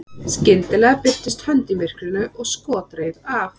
skyndilega birtist hönd í myrkrinu og skot reið af